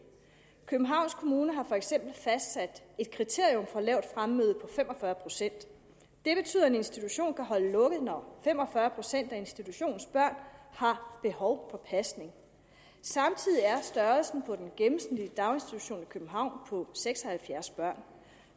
københavns kommune har for eksempel fastsat et kriterium for lavt fremmøde på fem og fyrre procent det betyder at en institution kan holde lukket når fem og fyrre procent af institutionens børn har behov for pasning samtidig er størrelsen på den gennemsnitlige daginstitution i københavn på seks og halvfjerds børn